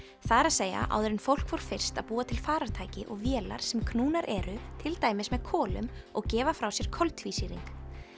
það er að segja áður en fólk fór fyrst að búa til farartæki og vélar sem knúnar eru til dæmis með kolum og gefa frá sér koltvísýring